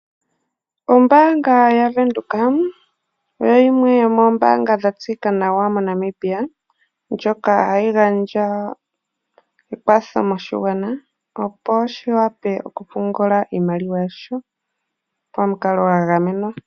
Ombaanga ya Venduka oyo yimwe yomoombanga dha tseyika nawa moNamibia, ndjoka hayi gandja ekwatho moshigwana opo shi wape okupungula iimaliwa ya sho pamukalogwa gamenwa.